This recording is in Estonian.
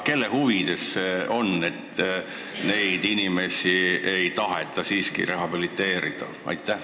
Kelle huvides see on, et neid inimesi ei taheta rehabiliteerida?